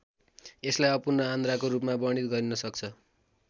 यसलाई अपूर्ण आन्द्राको रूपमा वर्णित गरिन सक्छ।